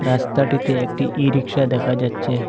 রাস্তাটিতে একটি ই রিকশা দেখা যাচ্ছে।